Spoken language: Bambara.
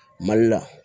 Mali la